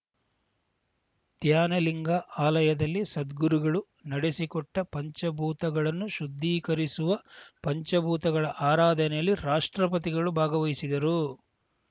ಧ್ಯಾನಲಿಂಗ ಆಲಯದಲ್ಲಿ ಸದ್ಗುರುಗಳು ನಡೆಸಿಕೊಟ್ಟಪಂಚಭೂತಗಳನ್ನು ಶುದ್ಧೀಕರಿಸುವ ಪಂಚಭೂತಗಳ ಆರಾಧನೆಯಲ್ಲಿ ರಾಷ್ಟ್ರಪತಿಗಳು ಭಾಗವಹಿಸಿದರು